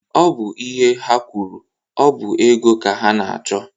Ọ bụ ihe ha kwuru. Ọ bụ ego ka ha na-achọ.